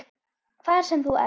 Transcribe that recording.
Hvar sem þú ert.